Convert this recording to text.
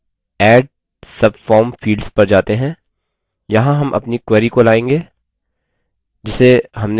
यहाँ हम अपनी query को लायेंगे जिसे हमने कुछ समय पहले बनाया था